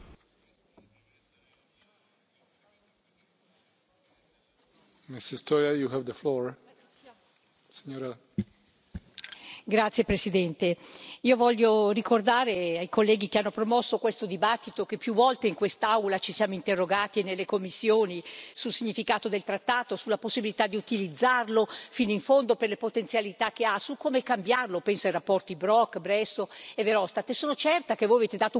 Signor Presidente, onorevoli colleghi, io voglio ricordare ai colleghi che hanno promosso questo dibattito che più volte in quest'Aula e nelle commissioni ci siamo interrogati sul significato del trattato, sulla possibilità di utilizzarlo fino in fondo per le potenzialità che ha, su come cambiarlo penso alle relazioni Brok, Bresso e Verhofstadt sono certa che voi avete dato un grandissimo contributo a questo lavoro, perché non è nello spazio di un dibattito, ma in questo lavoro costruttivo che si porta il proprio contributo.